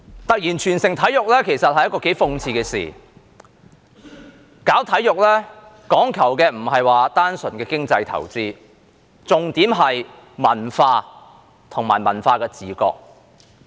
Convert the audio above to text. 突然全城體育其實是一件頗諷刺的事，搞體育講求的不是單純的經濟投資，重點是文化和文化的自覺。